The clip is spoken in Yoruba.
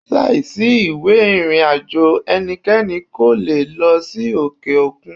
Láìsí ìwé ìrìn àjò ẹnikẹ́ni kò le è lọ sí òkè òkun.